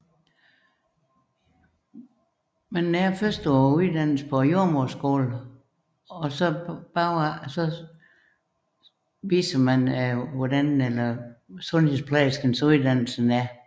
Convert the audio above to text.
Man overværer først uddannelsen på jordemoderskolen og derefter skildres sundhedsplejerskernes uddannelse